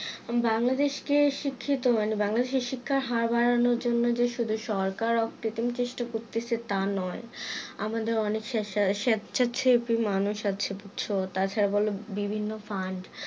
বাংলাদেশ কে শিক্ষিত মানে বাংলাদেশে শিক্ষার হার বাড়ানোর জন্য যে শুধু সরকার অপ্রতিম চেষ্টা করতেছে তা নই আমাদের অনেক সে~সা~স্বেচ্ছাছেবি মানুষ আছে বুজছো তাছাড়া বিভিন্ন ফান্ড